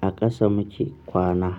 A ƙasa muke kwana.